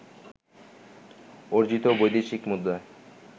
অর্জিত বৈদেশিক মুদ্রায়